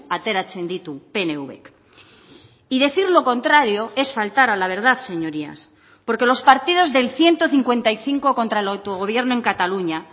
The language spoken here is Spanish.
ateratzen ditu pnvk y decir lo contrario es faltar a la verdad señorías porque los partidos del ciento cincuenta y cinco contra el autogobierno en cataluña